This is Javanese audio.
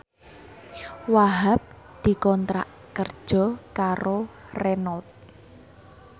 Wahhab dikontrak kerja karo Renault